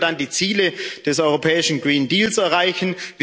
Wie sollen wir dann die Ziele des europäischen Grünen Deals erreichen?